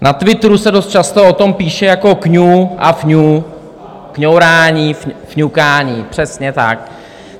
Na Twitteru se dost často o tom píše jako kňu a fňu, kňourání, fňukání, přesně tak.